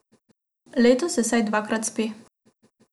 Letos se vsaj dvakrat spi.